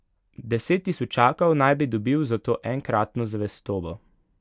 Deset tisočakov naj bi dobil za to enkratno zvestobo.